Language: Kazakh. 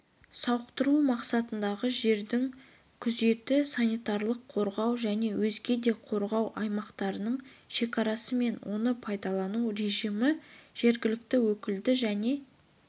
сауықтыру мақсатындағы жердің күзеті санитарлық-қорғау және өзге де қорғау аймақтарының шекарасы мен оны пайдалану режимін жергілікті өкілді және